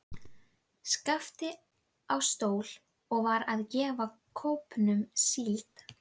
Skapti á stól og var að gefa kópnum síld.